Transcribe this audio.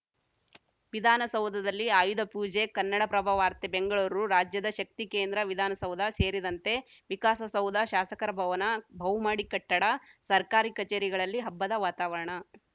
ವಿಧಾನಸೌಧದಲ್ಲಿ ಆಯುಧ ಪೂಜೆ ಕನ್ನಡಪ್ರಭ ವಾರ್ತೆ ಬೆಂಗಳೂರು ರಾಜ್ಯದ ಶಕ್ತಿ ಕೇಂದ್ರ ವಿಧಾನಸೌಧ ಸೇರಿದಂತೆ ವಿಕಾಸಸೌಧ ಶಾಸಕರ ಭವನ ಬಹುಮಹಡಿ ಕಟ್ಟಡ ಸರ್ಕಾರಿ ಕಚೇರಿಗಳಲ್ಲಿ ಹಬ್ಬದ ವಾತಾವರಣ